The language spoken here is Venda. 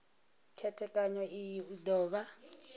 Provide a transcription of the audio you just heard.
khethekanyo iyi u do vha